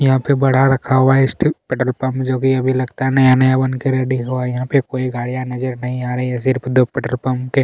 यहाँ पे बड़ा रखा हुआ है पेट्रोल पंप जोकि अभी लगता हैनया नया बनके रेडी हुआ है यहाँ पे कोई गाड़ियाँ नजर नही आ रही है सिर्फ दो पेट्रोल पंप के--